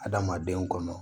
Adamadenw kɔnɔ